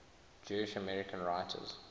jewish american writers